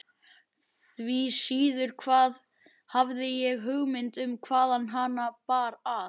Því síður hafði ég hugmynd um hvaðan hana bar að.